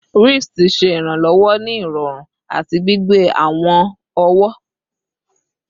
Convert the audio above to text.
Wrists ṣe iranlọwọ ni irọrun ati gbigbe awọn ọwọ